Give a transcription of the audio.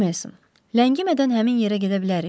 Mister Meyson, ləngimədən həmin yerə gedə bilərik?